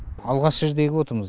алғаш рет егіп отырмыз